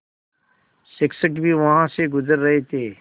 शिक्षक भी वहाँ से गुज़र रहे थे